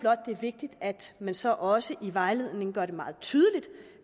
det er vigtigt at man så også i vejledningen gør det meget tydeligt